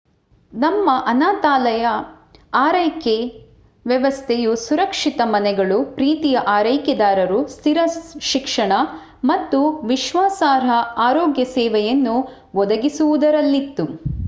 ನಮ್ಮ ಅನಾಥಾಲಯ ಆರೈಕೆ ವ್ಯವಸ್ಥೆಯು ಸುರಕ್ಷಿತ ಮನೆಗಳು ಪ್ರೀತಿಯ ಆರೈಕೆದಾರರು ಸ್ಥಿರ ಶಿಕ್ಷಣ ಮತ್ತು ವಿಶ್ವಾಸಾರ್ಹ ಆರೋಗ್ಯ ಸೇವೆಯನ್ನು ಒದಗಿಸುವುದರಲ್ಲಿತ್ತು